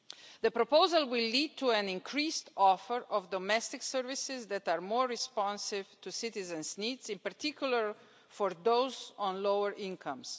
The proposal will lead to an increased offer of domestic services that are more responsive to citizens' needs, in particular for those on lower incomes.